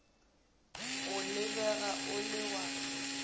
o lebega o le wa